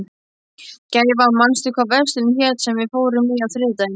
Gæfa, manstu hvað verslunin hét sem við fórum í á þriðjudaginn?